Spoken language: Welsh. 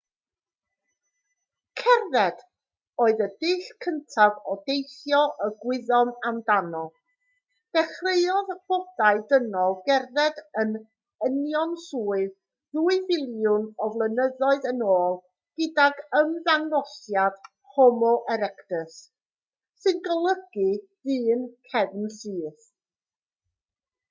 cerdded oedd y dull cyntaf o deithio y gwyddom amdano dechreuodd bodau dynol gerdded yn unionsyth ddwy filiwn o flynyddoedd yn ôl gydag ymddangosiad homo erectus sy'n golygu dyn cefnsyth